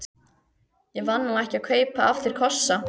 Ég var nú ekki að kaupa af þér kossa.